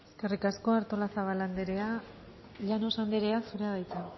eskerrik asko artolazabal andrea llanos andrea zurea da hitza